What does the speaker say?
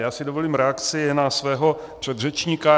Já si dovolím reakci na svého předřečníka.